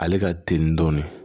Ale ka teli dɔɔnin